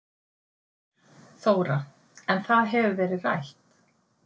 Þóra: En það hefur verið rætt?